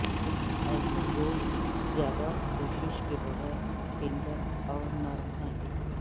ایسے گوشت زیادہ کوشش کے بغیر ٹینڈر اور نرم ہے